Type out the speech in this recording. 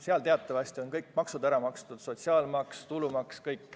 Sel puhul on teatavasti kõik maksud ära makstud: sotsiaalmaks, tulumaks.